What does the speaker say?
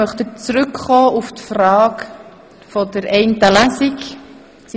Möchten Sie nun auf die Frage der Behandlung in nur einer Lesung zurückkommen?